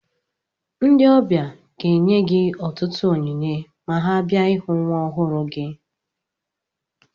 Ndị ọbịa ga-enye gị ọtụtụ onyinye ma ha bia ịhụ nwa ọhụrụ gị